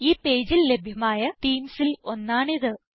ഈ പേജിൽ ലഭ്യമായ themesൽ ഒന്നാണിത്